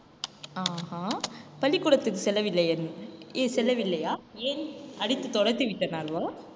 ஆஹா பள்ளிக்கூடத்திற்கு செல்லவில்லை~ செல்லவில்லையா? ஏன் அடித்து துரத்தி விட்டனாலயா